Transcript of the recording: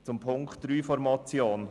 Zu Punkt 3 der Motion: